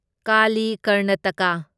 Kali Karnataka